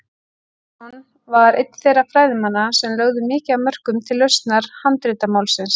Sveinsson var einn þeirra fræðimanna sem lögðu mikið af mörkum til lausnar handritamálsins.